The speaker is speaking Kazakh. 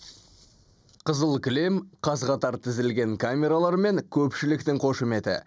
қызыл кілем қаз қатар тізілген камералар мен көпшіліктің қошеметі